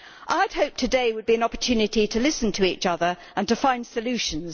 I had hoped that today would be an opportunity to listen to each other and to find solutions.